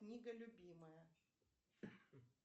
книга любимая